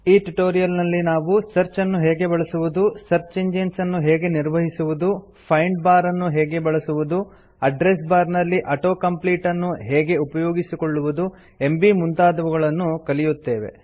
ಈ ಟ್ಯುಟೋರಿಯಲ್ ನಲ್ಲಿ ನಾವು ಸರ್ಚ್ ಅನ್ನು ಹೇಗೆ ಬಳಸುವುದು ಸರ್ಚ್ ಇಂಜಿನ್ಸ್ ಅನ್ನು ಹೇಗೆ ನಿರ್ವಹಿಸುವುದು ಫೈಂಡ್ ಬಾರ್ ಅನ್ನು ಹೇಗೆ ಬಳಸುವುದು ಅಡ್ರೆಸ್ ಬಾರ್ ನಲ್ಲಿ auto ಕಂಪ್ಲೀಟ್ ಅನ್ನು ಹೇಗೆ ಉಪಯೋಗಿಸಿಕೊಳ್ಳುವುದು ಎಂಬೀ ಮುಂತಾದವುಗಳನ್ನು ಕಲಿಯುತ್ತೇವೆ